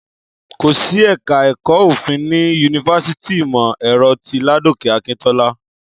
Kò sí ẹ̀ka ẹ̀kọ́ Òfin ní yunifásítì ìmọ̀-ẹ̀rọ ti Ládòkè Akíntọ́lá